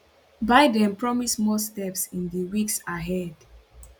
biden promise more steps in di weeks ahead